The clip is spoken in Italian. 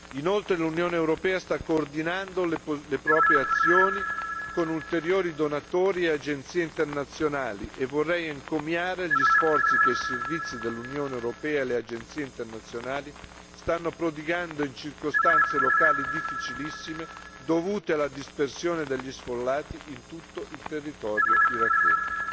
Inoltre, l'Unione europea sta coordinando le proprie azioni con ulteriori donatori e agenzie internazionali e vorrei encomiare gli sforzi che i servizi dell'Unione europea e le agenzie internazionali stanno prodigando in circostanze locali difficilissime dovute alla dispersione degli sfollati in tutto il territorio iracheno.